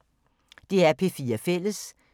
DR P4 Fælles